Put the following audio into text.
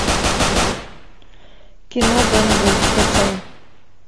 кино бен гур скачай